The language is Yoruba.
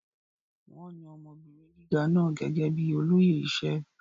Wón yan ọmọbìnrin gíga náà gẹ́gẹ́ bíi olóyè iṣẹ́.